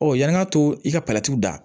Ɔ yani an ka to i ka dan